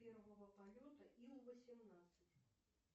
первого полета ил восемнадцать